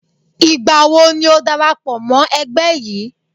Ìgbàwo ni o dára pọ̀ mọ́ ẹgbẹ́ yìí?